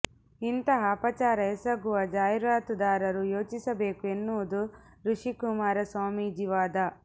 ಇಂತಹ ಅಪಚಾರ ಎಸಗುವ ಜಾಹೀರಾತುದಾರರು ಯೋಚಿಸಬೇಕು ಎನ್ನುವುದು ಋಷಿಕುಮಾರ ಸ್ವಾಮೀಜಿ ವಾದ